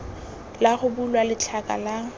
la go bulwa letlha la